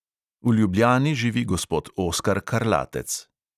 V ljubljani živi gospod oskar karlatec.